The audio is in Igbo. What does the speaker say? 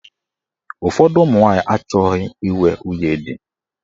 Ụfọdụ ụmụnwanyị achọghị inwe nwunye di.